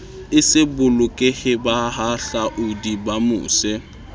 e se bolokehe bahahlaodi bamose